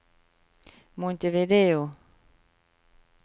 Montevideo